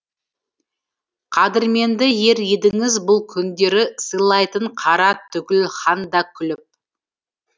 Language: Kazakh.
қадірменді ер едіңіз бұл күндері сыйлайтын қара түгіл хан да күліп